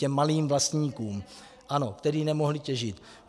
Těm malým vlastníkům, kteří nemohli těžit?